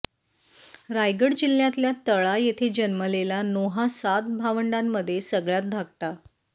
रायगड जिल्ह्यातल्या तळा येथे जन्मलेला नोहा सात भावंडांमध्ये सगळ्यांत धाकटा